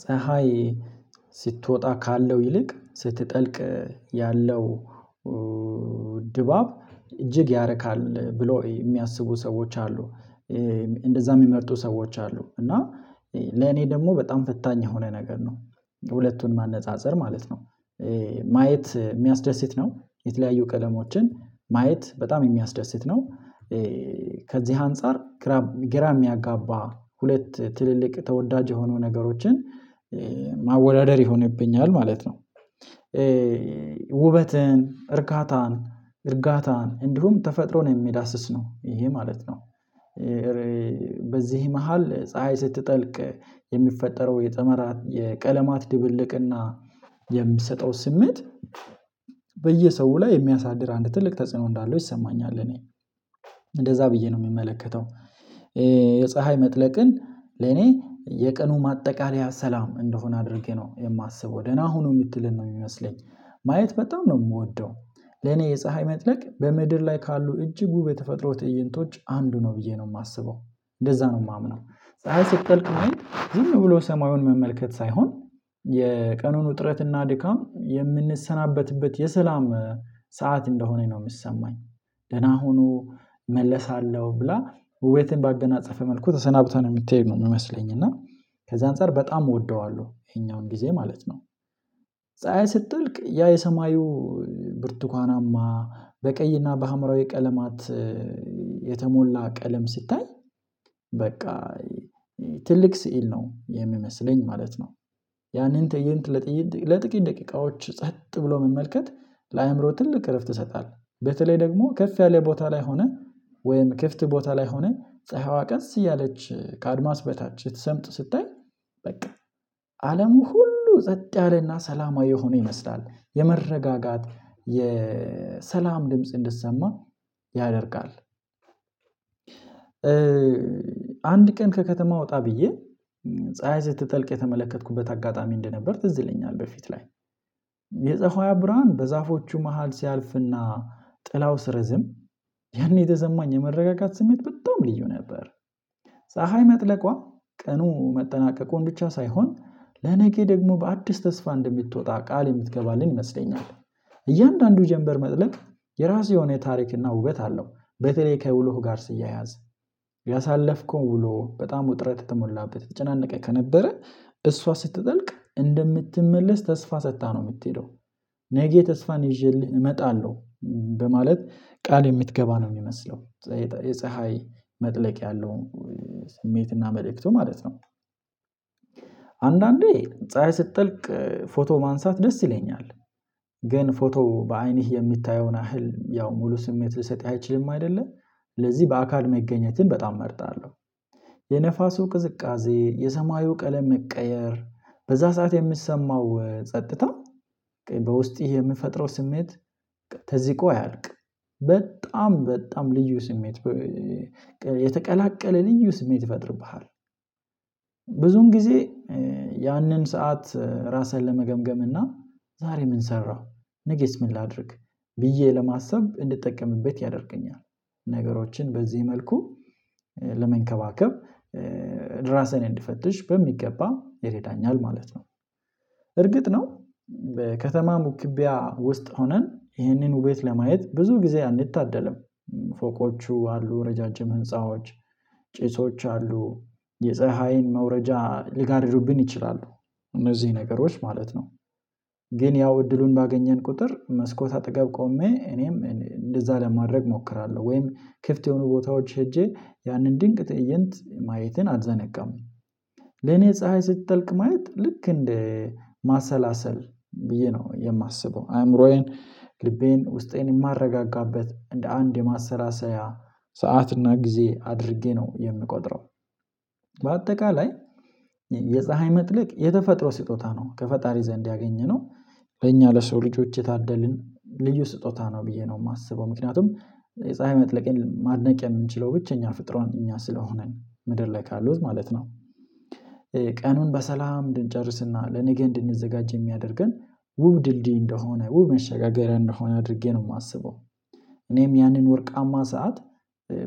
ፀሀይ ስትወጣ ካለው ይልቅ ስትጠልቅ ያለው ድባብ እጅግ ያረካል ብለው የሚያስቡ ሰዎች አሉ። እንደዛ የሚመርጡ ሰዎች አሉ፤ እና ለኔ ደግሞ በጣም ፈታኝ የሆነ ነገር ነው። ሁለቱን ማነፃፀር ማለት ነው። ማየት የሚያስደስት ነው የተለያዩ ቀለሞችን ማየት በጣም የሚያስደስት ነው። ከዚህ አንፃር ግራ ሚያጋባ ሁለት ትልልቅ ተወዳጅ የሆኑ ነገሮችን ማወዳደር ይሆንብኛል ማለት ነው። ውበትን፣ እርካታን፣ እርጋታን፣ እንዲሁም ተፈጥሮን የሚዳስስ ነው ይሄ ማለት ነው። በዚህ መሃል ፀሀይ ስትጠልቅ የሚፈጠረው የጠመራ የቀለማት ድብልቅና የምትሰጠው ስሜት በየሰው ላይ የሚያሳድር አንድ ትልቅ ተጽዕኖ እንዳለው ይሰማኛል እኔ እንደዛ ብዬ ነው የምመለከተው። የፀሀይ መጥለቅን ለኔ የቀኑ ማጠቃለያ ሰላም እንደሆነ አድርጌ ነው የማስበው። ደህና ሁኑ የምትልን ነው የሚመስለኝ። ማየት በጣም ነው የምወደው። ለኔ የፀሀይ መጥለቅ በምድር ላይ ካሉ እጅጉ ውብ የተፈጥሮ ትእይንቶች አንዱ ነው ብዬ ነው የማስበው። እንደዛ ነው የማምነው ፀሀይ ስትቀልቅ ማየት ዝም ብሎ ሰማዩን መመልከት ሳይሆን የቀኑን ውጥረትና ድካም የምንሰናበትበት የሰላም ሰዓት እንደሆነኝ ነው የሚሰማኝ። ደህና ሁኑ እመለሳለሁ ብላ ውቤትን ባገናጸፈ መልኩ ተሰናብታ ነው የምትሄድ ነው የምመስለኝ፤ እና ከዛ አንፃር በጣም እወደዋለሁ ይሄኛውን ጊዜ ማለት ነው። ፀሀይ ስጠልቅ ያ የሰማዩ ብርቱካናማ በቀይና በሀምራዊ ቀለማት የተሞላ ቀለም ስታይ በቃ ትልቅ ስዕል ነው የሚመስለኝ ማለት ነው። ያንን ተእይንት ለጥቂት ደቂቃዎች ጸጥ ብሎ መመልከት ለአእምሮ ትልቅ እረፍት ይሰጣል። በተለይ ደግሞ ከፍ ያለ ቦታ ላይ ሆነን ወይም ክፍት ቦታ ላይ ሆነን ፀሀይዋ ቀስ እያለች ከአድማስ በታች ስትሰምጥ ስታይ በቃ አለሙ ሁሉ ጸጥ ያለና ሰላማዊ የሆነ ይመስላል። የመረጋጋት፣ የሰላም ድምጽ እንዲሰማ ያደርጋል። አንድ ቀን ከከተማ ወጣ ብዬ ፀሀይ ስትጠልቅ የተመለከትኩበት አጋጣሚ እንደነበር ትዝ ይለኛል በፊት ላይ የፀሀይዋ ብርሃን በዛፎቹ መሃል ሲያልፍና ጥላው ሲረዝም ያኔ የተሰማኝ የመረጋጋት ስሜት በጣም ልዩ ነበር። ፀሀይ መጥለቋ ቀኑ መጠናቀቁን ብቻ ሳይሆን ለነገ ደግሞ በአዲስ ተስፋ እንደምትወጣ ቃል የምትገባልን ይመስለኛል። እያንዳንዱ ጀንበር መጥለቅ የራሱ የሆነ ታሪክና ውበት አለው። በተለይ ከውሎህ ጋር ሲያያዝ ያሳለፍከው ውሎ በጣም ውጥረት የተሞላበት የተጨናነቀ ከነበረ እሷ ስትጠልቅ እንደምትመለስ ተስፋ ሰጥታህ ነው የምትሄደው። ነገ ተስፋን ይዤልህ እመጣለሁ በማለት ቃል የምትገባ ነው የሚመስለው። የፀሀይ መጥለቅ ያለው ስሜትና መልእክቱ ማለት ነው አንዳንዴ ፀሀይ ስትጠልቅ ፎቶ ማንሳት ደስ ይለኛል። ግን ፎቶ በአይንህ የሚታየውን ያህል ያው ሙሉ ስሜት ልሰጥ አይችልም አይደለ ለዚህ በአካል መገኘትን በጣም እመርጣለሁ። የነፋሱ ቅዝቃዜ፣ የሰማዩ ቀለም መቀየር፣ በዛ ሰዓት የሚሰማው ጸጥታ በውስጥህ የሚፈጥረው ስሜት ተዚቆ አያልቅም። በጣም በጣም ልዩ ስሜት የተቀላቀለ ልዩ ስሜት ይፈጥርብሃል። ብዙን ጊዜ ያንን ሰዓት ራስህን ለመገምገም እና ዛሬ ምን ሰራህ ነገስ ምን ላድርግ ብዬ ለማሰብ እንድጠቀምበት ያደርገኛል። ነገሮችን በዚህ መልኩ ለመንከባከብ እራሴን እንድፈትሽ በሚገባ ይረዳኛል ማለት ነው። እርግጥ ነው ከተማም ውክቢያ ውስጥ ሆነን ይሄንን ውቤት ለማየት ብዙ ጊዜ አንታደልም። ፎቆቹ አሉ ረጃጅም ህንፃዎች፣ ጭሶች አሉ፣ የፀሀይን መውረጃ ሊጋርዱብን ይችላሉ እነዚህ ነገሮች ማለት ነው። ግን ያው እድሉን ባገኘን ቁጥር መስኮት አጠገብ ቆሜ እኔም እንደዛ ለማድረግ እሞክራለሁ ወይም ክፍት የሆኑ ቦታዎች ሄጄ ያንን ድንቅ ትእይንት ማየትን አልዘነጋም። ለኔ ፀሀይ ስትጠልቅ ማየት ልክ እንደ ማሰላሰል ብዬ ነው የማስበው። አእምሮዬን ልቤን ውስጤን የማረጋጋበት እንደ አንድ የማሰላሰያ ሰዓትና እና ጊዜ አድርጌ ነው የምቆጥረው። በአጠቃላይ የፀሀይ መጥለቅ የተፈጥሮ ስጦታ ነው። ከፈጣሪ ዘንድ ያገኘነው በእኛ ለሰው ልጆች የታደልን ልዩ ስጦታ ነው ብዬ ነው የማስበው። ምክንያቱም የፀሀይ መጥለቅን ማድነቅ የምንችለው ብቸኛ ፍጡራን እኛ ስለሆንን ምድር ላይ ካሉት ማለት ነው። ቀኑን በሰላም እንድንጨርስና ለነጌ እንድንዘጋጅ የሚያደርገን ውብ ድልድይ እንደሆነ ውብ መሸጋገሪያ እንደሆነ አድርጌ ነው የማስበው። እኔም ያንን ወርቃማ ሰዓት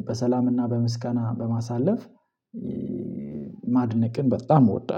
በሰላምና በምስጋና በማሳለፍ ማድነቅን በጣም እወዳለሁ።